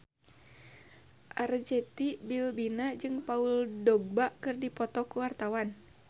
Arzetti Bilbina jeung Paul Dogba keur dipoto ku wartawan